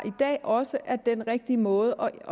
i dag også er den rigtige måde